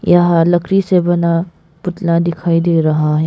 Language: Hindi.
यह लकड़ी से बना पुतला दिखाई दे रहा है।